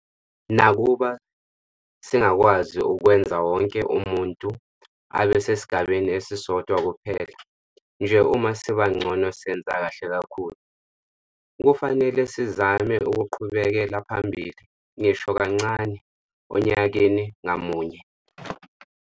Nakuba singakwazi ukwenza wonke umuntu abe sesigabeni esisodwa kuphela nje uma siba ngcono senza kahle kakhulu. Kufanele sizame ukuqhubekela phambili - ngisho kancane onyakani ngamunye.